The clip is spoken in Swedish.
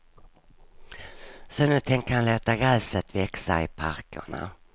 Så nu tänker han låta gräset växa i parkerna.